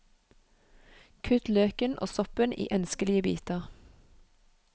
Kutt løken og soppen i ønskelige biter.